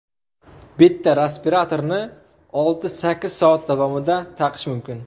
Bitta respiratorni olti-sakkiz soat davomida taqish mumkin.